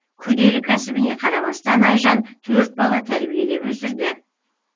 күрделі кәсібіне қарамастан айжан төрт бала тәрбиелеп өсірді